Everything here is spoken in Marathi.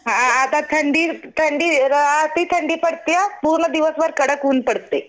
हां आता थंडीत, थंडी थंडी पडत्या पूर्ण दिवसभर कडक ऊन पडतंय.